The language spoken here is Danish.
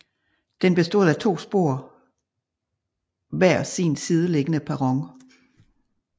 Den bestod af to spor hver sin sideliggende perron